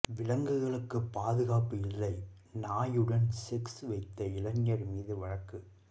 விலங்குகளுக்கு பாதுகாப்பு இல்லை நாயுடன் செக்ஸ் வைத்த இளைஞர் மீது வழக்கு